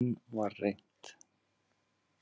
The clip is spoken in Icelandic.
Enn var reynt.